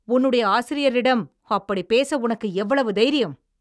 உன்னுடைய ஆசிரியரிடம் அப்படிப் பேச உனக்கு எவ்வளவு தைரியம்?